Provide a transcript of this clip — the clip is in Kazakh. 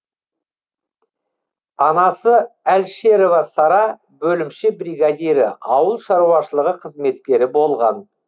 анасы әлшерова сара бөлімше бригадирі ауыл шаруашылығы қызметкері болған